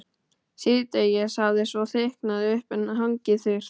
Síðdegis hafði svo þykknað upp en hangið þurrt.